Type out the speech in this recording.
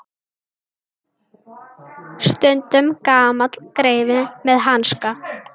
Stundum gamall greifi með hanska.